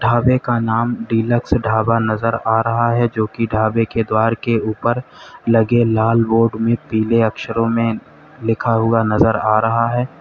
ढ़ाबे का नाम डीलक्स ढ़ाबा नजर आ रहा है जो कि ढ़ाबे के द्वार के ऊपर लगे लाल बोर्ड में पीले अक्षरों में लिखा हुआ नजर आ रहा है।